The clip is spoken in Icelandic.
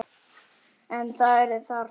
En það er þarft.